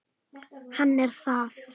Hann er það.